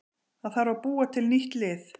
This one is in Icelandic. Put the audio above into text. Það þarf að búa til nýtt lið.